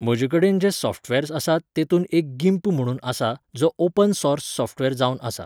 म्हजेकडेन जे सॉफ्टवॅर्स आसा तेतूंत एक गीम्प म्हणून आसा, जो ऑपन सॉर्स सॉफ्टवॅर जावन आसा